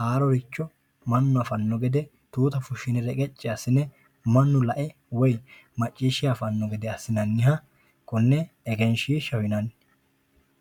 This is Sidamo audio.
haaroricho mannu afanno gede tuuta fushshine reqecci assine mannu lae woyi macciishshe afanno gede assinanniha konne egenshiishshaho yinanni